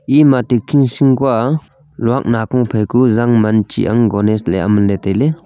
luak nakho janman gonise ley aman ley tailey.